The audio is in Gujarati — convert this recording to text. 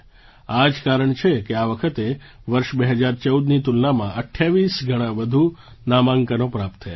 આ જ કારણ છે કે આ વખતે વર્ષ 2014ની તુલનામાં 28 ગણાં વધુ નામાંકનો પ્રાપ્ત થયાં છે